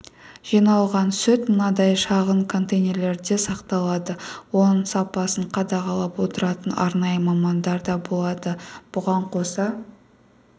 жиналған сүт мынадай шағын контейнерлерде сақталады оның сапасын қадағалап отыратын арнайы мамандар да болады бұған қоса